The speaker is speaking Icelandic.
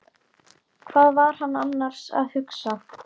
Hvað var hann annars að hugsa?